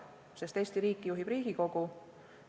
Eesti riiki juhib Riigikogu.